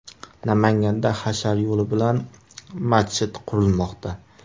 Namanganda hashar yo‘li bilan masjid qurilmoqda .